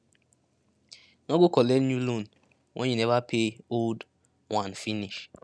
no go collect new loan when you never pay old one finish